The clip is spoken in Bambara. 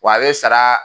Wa a bɛ sara